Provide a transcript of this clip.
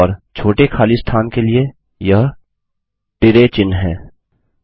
और छोटे खली स्थान के लिए यह तिरय चिन्ह है